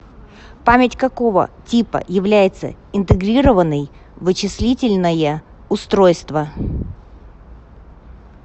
память какого типа является интегрированной в вычислительное устройство